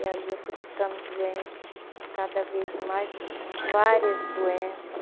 E ali eu fui ficando doente, cada vez mais, com várias doença.